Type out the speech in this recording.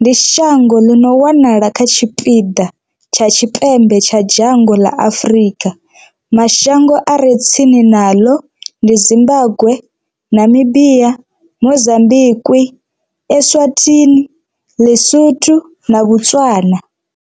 ndi shango ḽi no wanala kha tshipiḓa tsha tshipembe tsha dzhango ḽa Afrika. Mashango a re tsini naḽo ndi Zimbagwe, Namibia, Mozambikwi, Eswatini, Ḽisotho na Botswana.